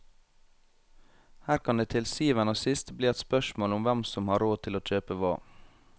Her kan det til syvende og sist bli et spørsmål om hvem som har råd til å kjøpe hva.